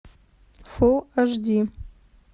фул аш ди